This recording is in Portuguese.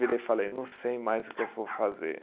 Virei e falei, não sei mais o que eu vou fazer.